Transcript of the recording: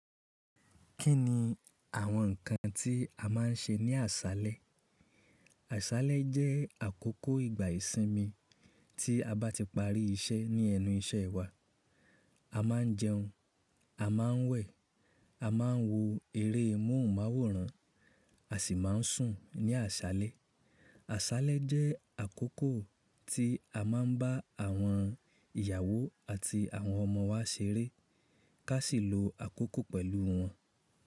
Kí ni àwọn ǹnkan tí a máa ń ṣe ní àṣálẹ́? Àṣálẹ́ jẹ́ àkókò ìgbà ìsinmi tí a bá ti parí iṣẹ́ ní ẹnu iṣẹ́ wa. A máa ń jẹun, a máa ń wẹ̀, a máa ń wo eré móhùnmáwòrán, a sì máa ń sùn ní àṣálẹ́. Àṣálẹ́ jẹ́ àkókò tí a máa ń bá àwọn ìyàwó àti àwọn ọmọ wa ṣeré ká sì lo àkókò pẹ̀lú wọn.